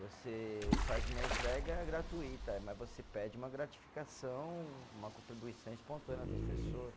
Você faz uma entrega gratuita, mas você pede uma gratificação, uma contribuição espontânea das pessoa.